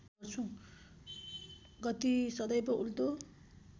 गति सदैव उल्टो